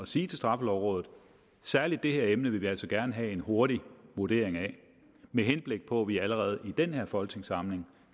sige til straffelovrådet at særlig det her emne vil vi altså gerne have en hurtig vurdering af med henblik på at vi allerede i den her folketingssamling